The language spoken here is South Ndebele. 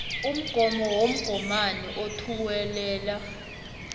umgomo womgomani othuwelela